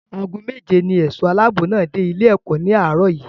Ago méje ní ẹ̀ṣọ́ aláàbò náà dé ilé-ẹ̀kọ́ ní àárọ̀ yìí.